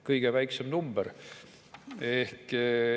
Kõige väiksem number.